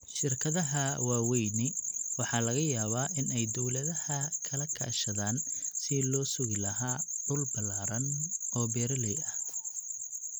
Shirkadaha waaweyni waxa laga yaabaa in ay dawladaha kala kaashadaan sidii loo sugi lahaa dhul ballaadhan oo beeralay ah.